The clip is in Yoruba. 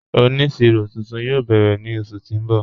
Oníṣírò tuntun yóò bẹ́rẹ̀ ni oṣù tí n bọ́.